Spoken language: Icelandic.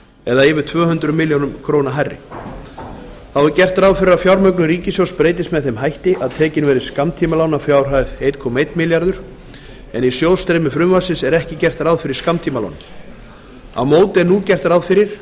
eða um tvö hundruð fimmtíu milljónir króna hærri þá er gert ráð fyrir að fjármögnun ríkissjóðs breytist með þeim hætti að tekin verði skammtímalán að fjárhæð ellefu hundruð milljóna króna en í sjóðstreymi frumvarpsins er ekki gert ráð fyrir skammtímalánum á móti er nú gert ráð fyrir